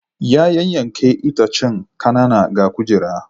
Ya yanyanke itacen kanana ga kujera.